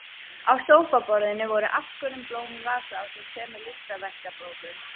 Á sófaborðinu voru afskorin blóm í vasa ásamt tveimur listaverkabókum.